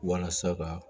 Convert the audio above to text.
Walasa ka